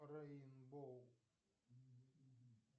рэинбоу